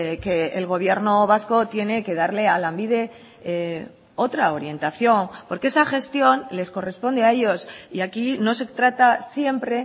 que el gobierno vasco tiene que darle a lanbide otra orientación porque esa gestión les corresponde a ellos y aquí no se trata siempre